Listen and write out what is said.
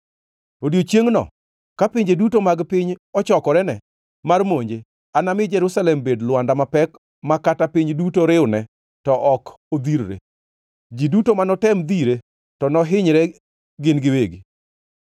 Odiechiengʼno, ka pinje duto mag piny ochokorene mar monje, anami Jerusalem bed lwanda mapek ma kata piny duto riwne to ok odhirre. Ji duto manotem dhire to nohinyre gin giwegi.